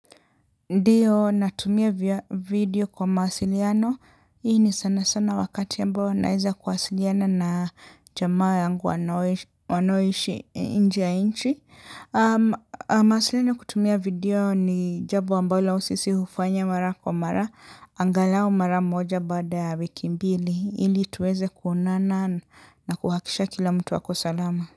Ndiyo natumia video kwa mawasiliano. Hii ni sana sana wakati ambao naeza kuwasiliana na jamaa yangu wanaoishi inje ya inchi. Mawasiliano kutumia video ni jabo ambalo sisi hufanya mara kwa mara. Angalao mara moja baada ya wiki mbili. Hili tuweze kuonana na kuhakisha kila mtu ako salama.